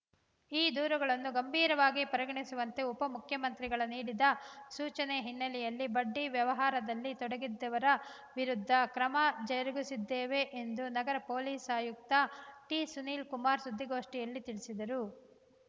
ಈ ದೂರುಗಳನ್ನು ಗಂಭೀರವಾಗಿ ಪರಿಗಣಿಸುವಂತೆ ಉಪಮುಖ್ಯಮಂತ್ರಿಗಳ ನೀಡಿದ ಸೂಚನೆ ಹಿನ್ನೆಲೆಯಲ್ಲಿ ಬಡ್ಡಿ ವ್ಯವಹಾರದಲ್ಲಿ ತೊಡಗಿದ್ದವರ ವಿರುದ್ಧ ಕ್ರಮ ಜರುಗಿಸಿದ್ದೇವೆ ಎಂದು ನಗರ ಪೊಲೀಸ್‌ ಆಯುಕ್ತ ಟಿಸುನೀಲ್‌ ಕುಮಾರ್‌ ಸುದ್ದಿಗೋಷ್ಠಿಯಲ್ಲಿ ತಿಳಿಸಿದರು